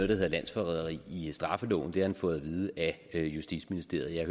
der hedder landsforræderi i straffeloven det har han fået at vide af justitsministeriet og jeg